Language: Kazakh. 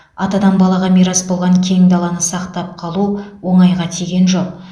атадан балаға мирас болған кең даланы сақтап қалу оңайға тиген жоқ